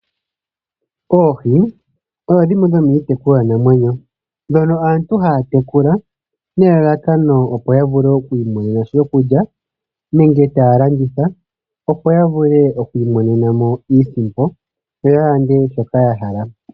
Oohi odho dhimwe dhomiitekulwanamwenyo ndhono aantu haya tekula nelalakano opo ya vule oku imonena sha shokulya nenge taya landitha, opo ya vule oku imonena mo iisimpo yo ya vule okulanda shoka ya hala.